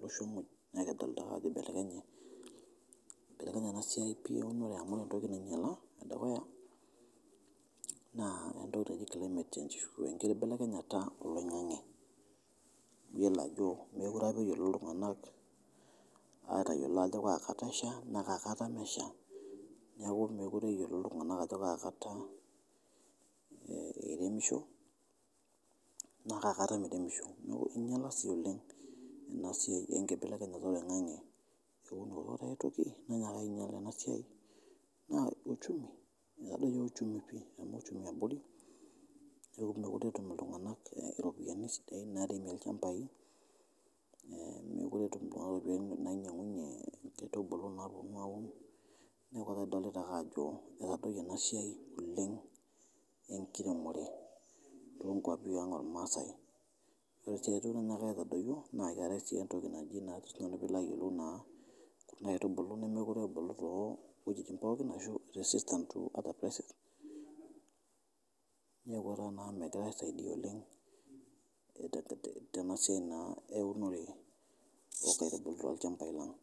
losho muuj naa kidolita ake ajo eibelekenye ena siai pii eunore amu ore entoki nainyala edukuya entoki naji climate change enkiti kibelekenyara e loing'ang'e iyolo ajo mekore apa eyolo ltunganak aatayelo ajo kaa kata esha naa kaa kata mesha, neaku mekore eyolo ltunganak ajonkaa kata eremisho naa kaa kata meremisho, neaku einyala si oleng ena siai enkibelekenyata e oing'ang'e eunoto epooki toki neinyalai ena siai nearr uchumi, etadoiye uchumi pii nechomo uchumi abori, neton etuetum ltunganak iropiyani sidain naaremie lchambai, mekore etum nainyang'unye nkibulu naaponu aun, neaku ekadolita ake ajo etadoiye ena siai oleng enkiremore te nkuapi naang' olmaasai, ore aitoki nainyaaka aitodoyo naa keatai oshi ntoki naji ajo si nanu pilo ayelou naa nkaitubulu nemekore ebulu to wejitin pookin ashu the system to the basic neaku metii aisaidia oleng tena siai naa eunore onkaitubulu to lchambai lang'.